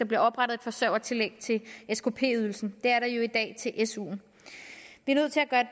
bliver oprettet et forsørgertillæg til skp ydelsen det er der jo i dag til suen